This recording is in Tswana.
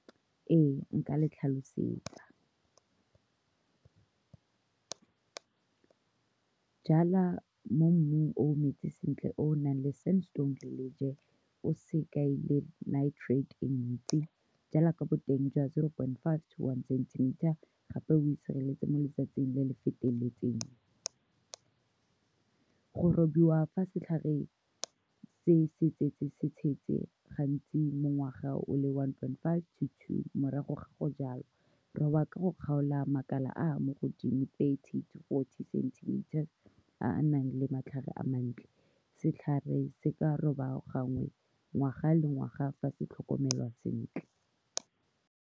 Ee, nka le tlhalosetsa, jala mo mmung o metsi sentle, o o nang le sandstone le lejoe, o sekai le nitrate e ntsi. Jala ka boteng jwa zero point five to one centimetre. Gape, o itshireletse mo letsatsing le le feteletseng go robiwa fa setlhare se se tsetse se tshetse, gantsi mo ngwaga o le one point five to two morago ga go jalwa. Roba ka go kgaola makala a a mo godimo thirty to fourty centimetres, a a nang le matlhare a mantle. Setlhare se ka roba gangwe ngwaga le ngwaga fa se tlhokomelwa sentle.